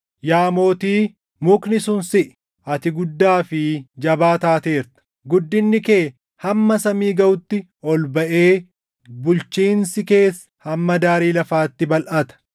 yaa Mootii, mukni sun siʼi! Ati guddaa fi jabaa taateerta; guddinni kee hamma samii gaʼutti ol baʼee bulchiinsi kees hamma daarii lafaatti balʼata.